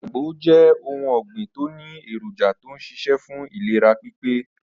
Agbo jé̩ ohun ò̩gbìn tó ní èròjà tó ń s̩is̩é̩ fún ìlera pípé